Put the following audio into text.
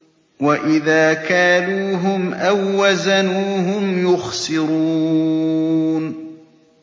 وَإِذَا كَالُوهُمْ أَو وَّزَنُوهُمْ يُخْسِرُونَ